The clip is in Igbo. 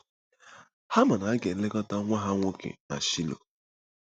Ha ma na a ga-elekọta nwa ha nwoke na Shaịlo.